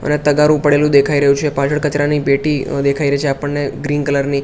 અને તગારુ પડેલુ દેખાઈ રહ્યુ છે પાછડ કચરાની પેટી દેખાઈ રહી છે આપણને ગ્રીન કલર ની--